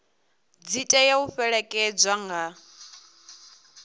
dzi tea u fhelekedzwa nga